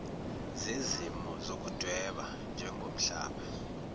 zezimo zokudweba njengombala